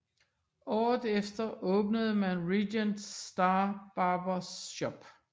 Året efter åbnede man Regent St Barbers Shop